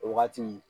O wagati